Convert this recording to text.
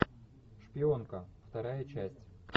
шпионка вторая часть